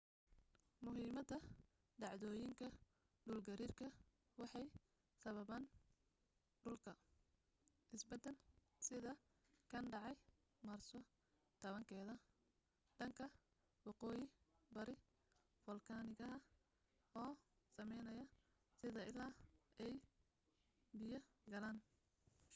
muhiimada dhacdooyinka dhul gariirka waxay sababan dhulka isbeddel sida kan dhacay maarso 10 keeda dhanka waqooyi bari fulkanaha oo sameynaya sida il ay biyo galaan